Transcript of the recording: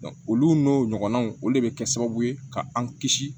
olu n'o ɲɔgɔnnaw o de bɛ kɛ sababu ye ka an kisi